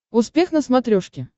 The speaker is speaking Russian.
успех на смотрешке